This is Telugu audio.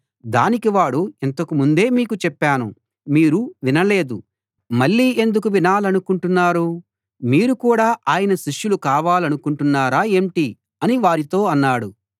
దానికి వాడు ఇంతకు ముందే మీకు చెప్పాను మీరు వినలేదు మళ్ళీ ఎందుకు వినాలనుకుంటున్నారు మీరు కూడా ఆయన శిష్యులు కావాలనుకుంటున్నారా ఏంటి అని వారితో అన్నాడు